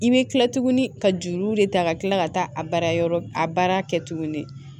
I bɛ kila tuguni ka juru de ta ka kila ka taa a baara yɔrɔ a baara kɛ tuguni